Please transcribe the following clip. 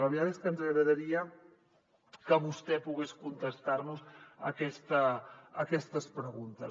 la veritat és que ens agradaria que vostè pogués contestar nos aquestes preguntes